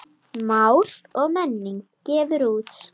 Mál og menning gefur út.